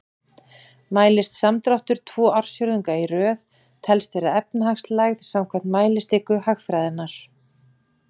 Mælist samdráttur tvo ársfjórðunga í röð telst vera efnahagslægð samkvæmt mælistiku hagfræðinnar.